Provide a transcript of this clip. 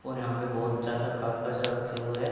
और यहां पे बहोत ज्यादा कागज रखे हुए हैं।